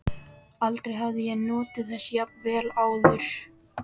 Aldrei hafði ég notið þess jafn vel áður.